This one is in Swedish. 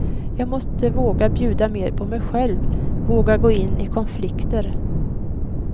Jag måste våga bjuda mera på mig själv, våga gå in i konflikter.